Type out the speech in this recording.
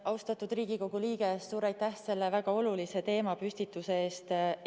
Austatud Riigikogu liige, suur aitäh selle väga olulise teemapüstituse eest!